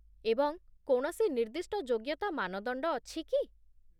ଏବଂ କୌଣସି ନିର୍ଦ୍ଦିଷ୍ଟ ଯୋଗ୍ୟତା ମାନଦଣ୍ଡ ଅଛି କି?